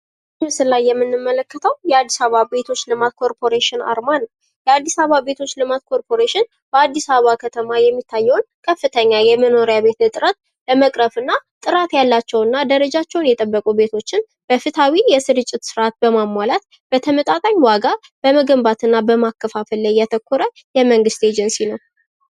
በምስሉ ላይ የምንመለከተው የአዲስ አበባ ቤቶች ልማት ኮርፖሬሽን አርማን ነው። የአዲስ አበባ ቤቶች ልማት ኮርፖሬሽን በአዲስ አበባ የሚታየውን ከፍተኛ የመኖሪያ በቤት እጥረት ለመቅረፍ እና ጥራት ያላቸው እና ደረጃቸውን የተበቁ ቤቶችን በፍትሃዊ የስርጭት ስራ በማሟላት በተመጣጣኝ ዋጋ በመገንባት እና በማከፋፈል ላይ ያረኮረ የመንግስት ኤጀንሲ ነው።